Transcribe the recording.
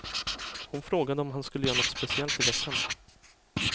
Hon frågade om han skulle göra något speciellt i veckan.